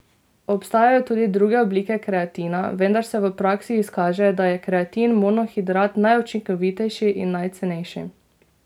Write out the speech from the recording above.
Obstajajo tudi druge oblike kreatina, vendar se v praksi izkaže, da je kreatin monohidrat najučinkovitejši in najcenejši.